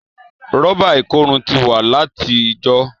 Rọ́bà ikòrun ti wa lati ìjọ.